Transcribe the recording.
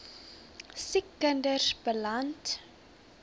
siek kinders beland